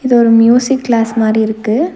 இது ஒரு music class மாரி இருக்கு.